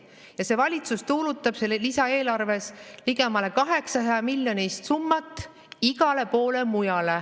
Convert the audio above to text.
Ja see valitsus tuulutab selles lisaeelarves ligemale 800-miljonilist summat igale poole mujale.